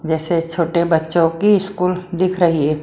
जैसे छोटे बच्चों की स्कूल दिख रही है।